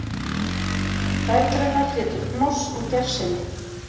Dætur hennar hétu Hnoss og Gersemi